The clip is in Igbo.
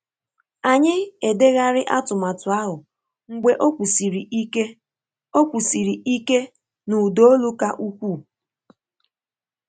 Anyị edegharị atụmatụ ahụ mgbe ọ kwusiri ike ọ kwusiri ike na ụda olu ka ukwuu.